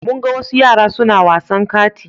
Mun ga wasu yara suna wasan kati.